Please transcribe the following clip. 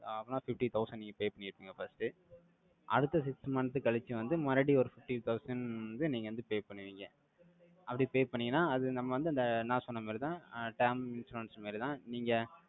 அப்பனா fifty thousand நீங்க pay பண்ணி இருப்பீங்க, first. அடுத்த six month கழிச்சு வந்து, மறுபடியும் ஒரு fifty thousand வந்து, நீங்க வந்து pay பண்ணுவீங்க. அப்படி pay பண்ணீங்கன்னா, அது நம்ம வந்து, அந்த நான் சொன்ன மாதிரிதான், term insurance மாரிதான். நீங்க,